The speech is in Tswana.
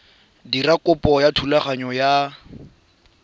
dira kopo ya thulaganyo ya